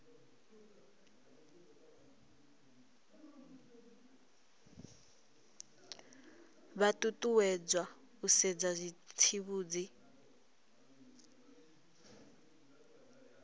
vha ṱuṱuwedzwa u sedza zwitsivhudzi